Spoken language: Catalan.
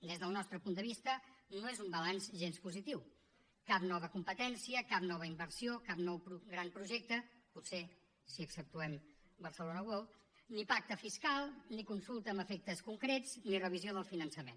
des del nostre punt de vista no és un balanç gens positiu cap nova competència cap nova inversió cap nou gran projecte potser si exceptuem barcelona world ni pacte fiscal ni consulta amb efectes concrets ni revisió del finançament